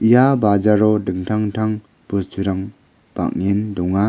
ia bajaro dingtang intang bosturang bang·en donga.